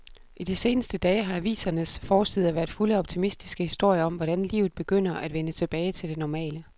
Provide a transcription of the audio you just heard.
I de seneste dage har avisernes forsider været fulde af optimistiske historier om, hvordan livet begynder at vende tilbage til det normale.